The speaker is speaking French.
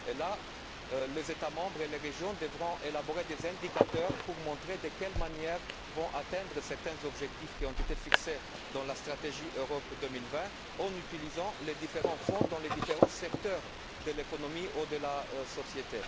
Dans ce cas, les États membres et les régions devront élaborer des indicateurs pour montrer de quelle manière ils vont atteindre certains objectifs qui ont été fixés dans la stratégie Europe 2020 en utilisant les différents fonds dans les différents secteurs de l'économie de la société.